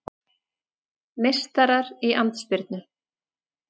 Meistarar í andspyrnu